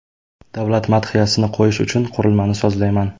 Davlat madhiyasini qo‘yish uchun qurilmani sozlayman.